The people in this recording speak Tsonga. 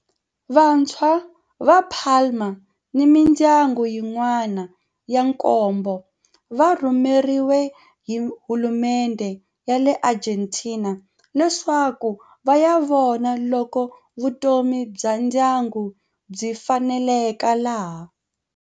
Vatswari va Palma ni mindyangu yin'wana ya nkombo va rhumeriwe hi hulumendhe ya le Argentina leswaku va ya vona loko vutomi bya ndyangu byi faneleka laha.